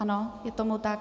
Ano, je tomu tak.